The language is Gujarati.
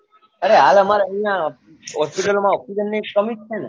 અરે હાલ અમ્મારે અહિયાં hospital માં ઓક્ષ્સિજન ની કમી જ છે ને